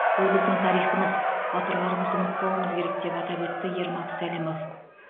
бұл біздің тарихымыз батырларымызды ұмытпауымыз керек деп атап өтті ермак сәлімов